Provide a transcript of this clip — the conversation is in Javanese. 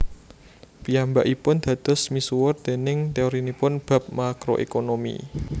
Piyambakipun dados misuwur déning teorinipun bab Makro Ekonomi